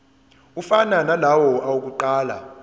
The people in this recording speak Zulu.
afana nalawo awokuqala